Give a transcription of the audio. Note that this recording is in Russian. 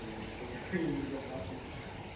только в целях своей безопасности